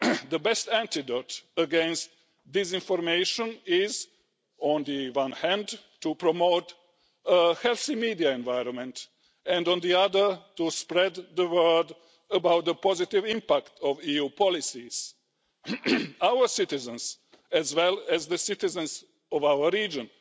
The best antidote against disinformation is, on the one hand, to promote a healthy media environment and, on the other, to spread the word about the positive impact of EU policies. Our citizens, as well as the citizens of our region,